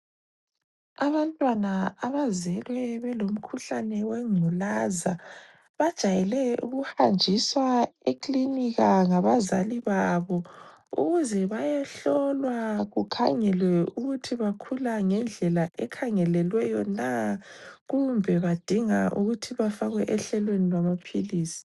Abantwana abazelwe belomkhuhlane wengculaza, bajayele ukuhanjiswa ekilinika ngabazali babo ukuze bayehlolwa kukhangelwe ukuthi bakhula ngendlela ekhangelelweyo na kumbe badinga ukuthi bafakwe ehlelweni lwamaphilizi.